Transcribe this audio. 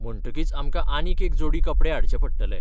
म्हणटकीच आमकां आनीक एक जोडी कपडे हाडचे पडटले.